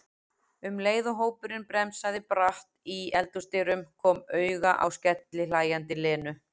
um leið og hópurinn bremsaði bratt í eldhúsdyrum, kom auga á skellihlæjandi Lenu.